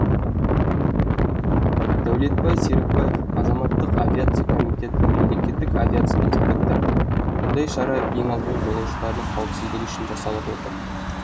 дәулетбай серікбаев азаматтық авиация комитеті мемлекеттік авиация инспекторы мұндай шара ең алдымен жолаушылардың қауіпсіздігі үшін жасалып отыр